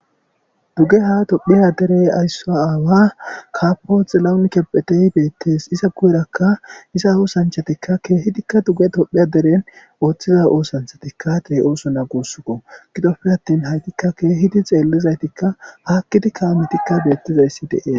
Dugge ha tophiya derey aysso aawa kapoxilaunkepphetey beettes iza gu'erakka iza oosanchatikka keehidikka dugge dophiya deren ooththiza oosanchatikka tee oosona guussuko gidoppe attin haytikka keehidi xeellizaytikka haakkidi kaametikka beettizayssi deee.